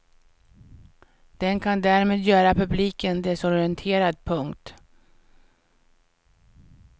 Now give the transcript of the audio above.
Den kan därmed göra publiken desorienterad. punkt